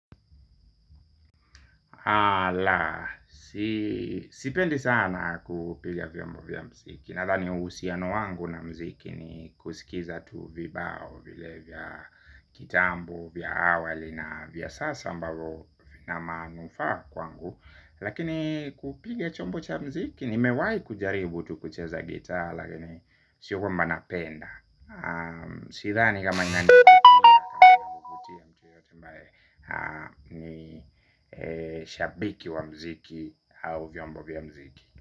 Alaa, sipendi sana kupiga vyombo vya mziki. Nathani uhusiano wangu na mziki ni kusikiza tu vibao vile vya kitambo vya awali na vya sasa ambavo ina manufaa kwangu. Lakini kupiga chombo cha mziki nimewahi kujaribu tu kucheza gitaa lakini sio kwamba napenda. Sidhani kama nani shabiki wa mziki au vyombo vya mziki.